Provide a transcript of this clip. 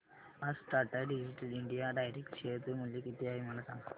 आज Tata digital India direct share चे मूल्य किती आहे मला सांगा